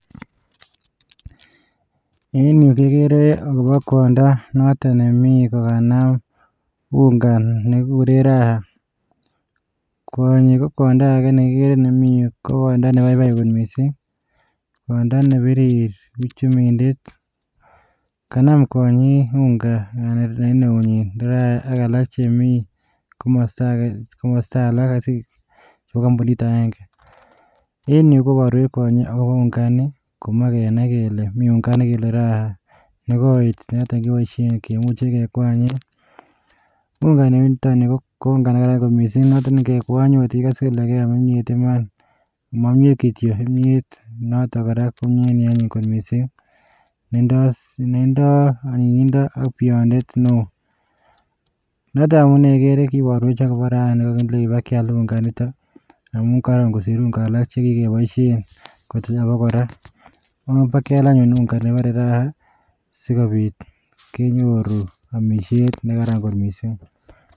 En yu kegere akobo kwondoo noton nemii kokanaam ungaa. Nekikureen Raha, kwonyii ko kwondoo age nekikere nemi yu, ko kwondo nebaibai kot missing, kwondo nebirir uchumindet. Kanaam kwonyii unga en eunyiin, ak alak chemi komostoo age, kobo kompunit agenge. En yuh, koboruech kwonyii akobo ungaini, komoche kenai kele mii unga ini nekebore Raha, nekoit keboishien, kimuche kekwanyen. Unga nitok nii, ko unga nekaran kot missing, notok nengekwoonyee, ikose ile keam imiet Iman, mo imyeet kityok kobaten kimyet notok koraa ko kimyet neanyin kot missing. Netindoi anyinyindo ak bionet newoonotok amune igere kiboruek akobo Raha ini, kelenchech ibakial unga initok amun koron kosiir unga alak chekikeboishien en abakora. Obakial anyun unga nekibore Raha, sikobiit kenyooru amisiet nekaran kot missing.